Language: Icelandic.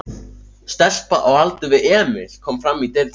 Stelpa á aldur við Emil kom fram í dyrnar.